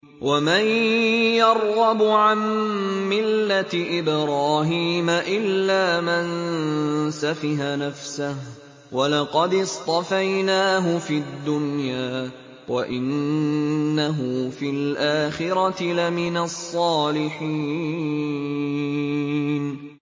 وَمَن يَرْغَبُ عَن مِّلَّةِ إِبْرَاهِيمَ إِلَّا مَن سَفِهَ نَفْسَهُ ۚ وَلَقَدِ اصْطَفَيْنَاهُ فِي الدُّنْيَا ۖ وَإِنَّهُ فِي الْآخِرَةِ لَمِنَ الصَّالِحِينَ